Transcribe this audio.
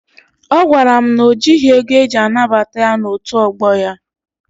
Ọ gwara m na o jịghị ego eji anabata ya n'otu ọgbọ ya.